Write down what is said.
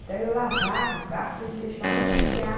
Então eu lavava o carro para ele deixar eu passear.